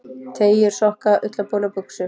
Teygjur, sokka, ullarboli og buxur.